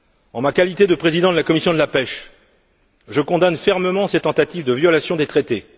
En ma qualité de président de la commission de la pêche, je condamne fermement cette tentative de violation des traités.